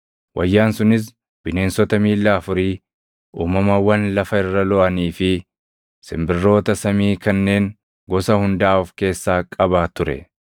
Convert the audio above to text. Wayyaan sunis bineensota miilla afurii, uumamawwan lafa irra looʼanii fi simbirroota samii kanneen gosa hundaa of keessaa qaba ture.